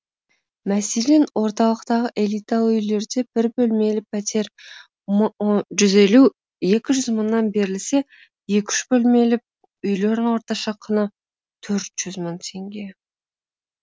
мәселен орталықтағы элиталы үйлерде бір бөлмелі пәтер жуз елу екі жүз мыңнан берілсе екі үш бөлмелі үйлерін орташа құны төрт жүз мың теңге